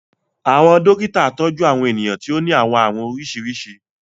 Àwọn dokita tọju Àwọn eniyan ti o ni àwọn àarun oriṣiriṣi